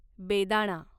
बेदाणा